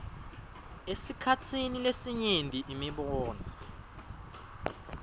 esikhatsini lesinyenti imibono